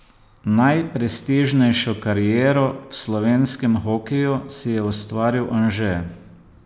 Najprestižnejšo kariero v slovenskem hokeju si je ustvaril Anže.